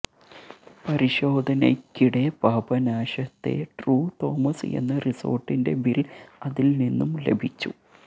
പരിശോധനയ്ക്കിടെ പാപനാശത്തെ true Thomas എന്ന റിസോര്ട്ടിന്റെ ബില് അതില് നിന്നും ലഭിച്ചു